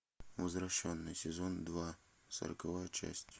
возвращенный сезон два сороковая часть